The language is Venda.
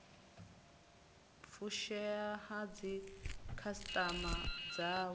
u fushea ha dzikhasitama dzavho